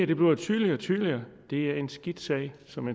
bliver tydeligere og tydeligere det er en skidt sag som